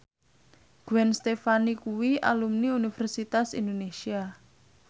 Gwen Stefani kuwi alumni Universitas Indonesia